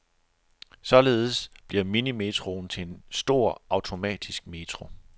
Således bliver minimetroen til en stor automatisk metro.